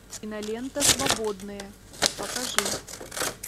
кинолента свободные покажи